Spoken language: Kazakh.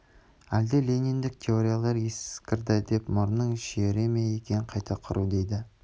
әлде лениндік теориялар ескірді деп мұрнын шүйіре ме екен қайта құру дейді